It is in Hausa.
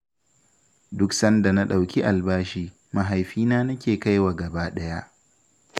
Duk sanda na ɗau albashi, mahaifina nake kaiwa gaba ɗaya.